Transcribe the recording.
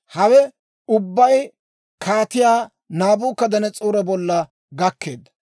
Hawe ubbay Kaatiyaa Naabukadanas'oore bolla gakkeedda.